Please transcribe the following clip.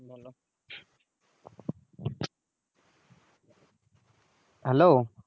hello